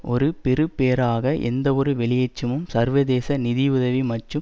ஒரு பெறுபேறாக எந்தவொரு வெளியேற்றமும் சர்வதேச நிதி உதவி மற்றும்